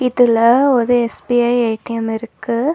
இதுல ஒரு SBI ATM இருக்கு.